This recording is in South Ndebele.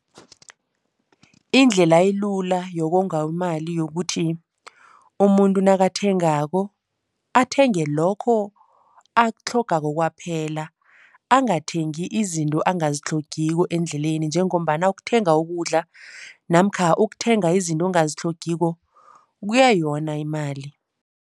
Indlela elula yokonga imali yokuthi umuntu nakathengako athenge lokho akutlhogako kwaphela. Angathengi izinto angazitlhogiko endleleni njengombana ukuthenga ukudla namkha ukuthenga izinto ongazitlhogiko kuyayona imali.